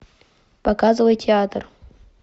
показывай театр